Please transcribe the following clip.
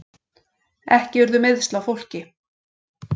Ekki urðu meiðsl á fólki